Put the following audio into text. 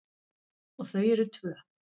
Og þau eru tvö.